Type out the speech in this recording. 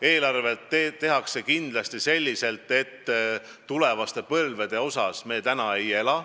Eelarve tehakse kindlasti selliselt, et tulevaste põlvede arvel me täna ei ela.